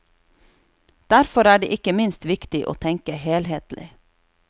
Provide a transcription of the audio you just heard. Derfor er det ikke minst viktig å tenke helhetlig.